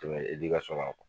na.